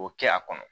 O kɛ a kɔnɔ